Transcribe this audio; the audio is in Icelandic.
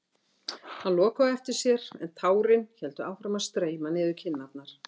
Hann lokaði á eftir sér en tárin héldu áfram að streyma niður kinnarnar.